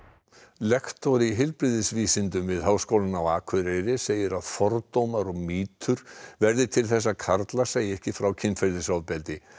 lektor í heilbrigðisvísindum við Háskólann á Akureyri segir að fordómar og mýtur verði til þess að karlar segi ekki frá kynferðisofbeldi